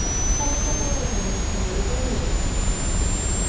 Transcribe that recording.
Sáttaboð vegna vistunar í Breiðavík